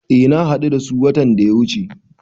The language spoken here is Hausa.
Eh na hadu da su watan da ya wuche.